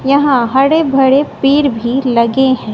यहां हड़े भरे पेड़ भी लगे हैं।